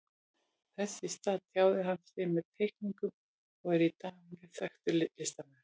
Þess í stað tjáði hann sig með teikningum og er í dag mjög þekktur listamaður.